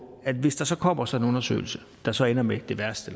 at hvis der så kommer sådan en undersøgelse der så ender med det værste